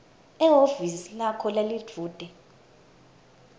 ehhovisi lakho lelidvute